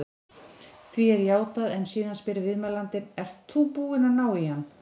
Því er játað en síðan spyr viðmælandinn: Ert þú búinn að ná á hann?